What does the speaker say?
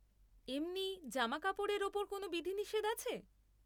এমনি জামাকাপড়ের ওপর কোনও বিধিনিষেধ আছে?